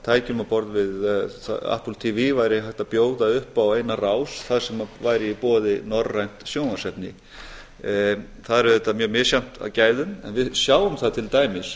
tækjum á borð við apple tv væri hægt að bjóða upp á eina rás þar sem væri í boði norrænt sjónvarpsefni það er auðvitað mjög misjafnt að gæðum en við sjáum það til dæmis